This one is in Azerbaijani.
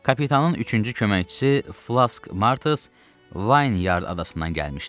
Kapitanın üçüncü köməkçisi Flask Martus Wine Yard adasından gəlmişdi.